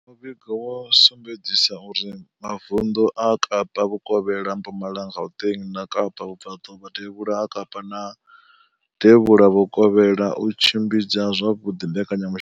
Muvhigo wo sumbedzisa uri mavundu a Kapa vhukovhela, Mpumalanga, Gauteng, Kapa vhubvaḓuvha, devhula ha Kapa na devhula vhukovhela o tshimbidza zwavhuḓi mbekanyamushumo.